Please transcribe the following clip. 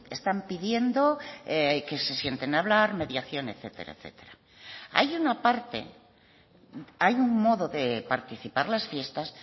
están pidiendo que se sienten a hablar mediación etcétera etcétera hay una parte hay un modo de participar las fiestas